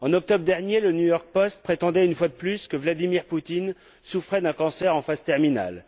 En octobre dernier, le New York Post prétendait, une fois de plus, que Vladimir Poutine souffrait d'un cancer en phase terminale.